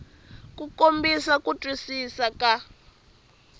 ku kombisa ku twisisa ka